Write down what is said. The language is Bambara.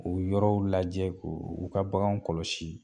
K'o yɔrɔw lajɛ k'o u ka baganw kɔlɔsi.